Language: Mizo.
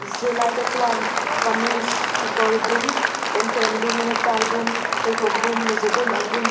zirlaite chuan kamis kekawr dum pawnven dum nectie dum pheikhawk dum mawza dum an bun bawk--